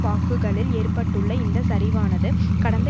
வாக்குகளில் ஏற்பட்டுள்ள இந்த சரிவானது கடந்த